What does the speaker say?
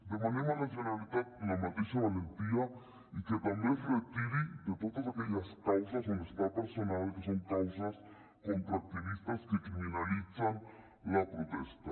demanem a la generalitat la mateixa valentia i que també es retiri de totes aque·lles causes on està personada que són causes contra activistes que criminalitzen la protesta